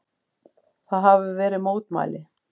Það hafa verið fá mótmæli